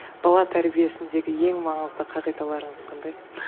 бала тәрбиесіндегі ең маңызды қағидаларыңыз қандай